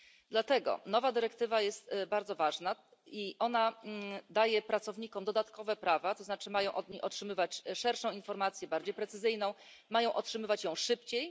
Dlatego nowa dyrektywa jest bardzo ważna i daje pracownikom dodatkowe prawa, to znaczy mają oni otrzymywać szersze informacje, bardziej precyzyjne i mają otrzymywać je szybciej.